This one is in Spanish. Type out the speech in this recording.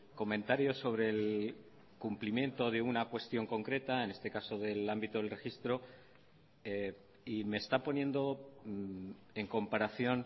comentario sobre el cumplimiento de una cuestión concreta en este caso del ámbito del registro y me está poniendo en comparación